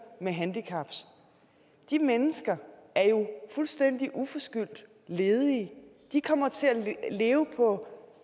med handicap de mennesker er jo fuldstændig uforskyldt ledige de kommer til at leve på